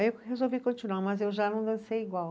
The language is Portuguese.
Aí eu resolvi continuar, mas eu já não dancei igual.